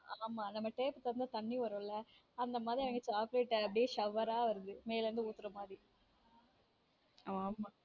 ஆமா நம்ம tape தொறந்தா தண்ணி வரும் இல்ல அந்த மாதிரி அவங்க chocolate shower ஆ வருது மேல இருந்து ஊதுற மாதிர ஆமா.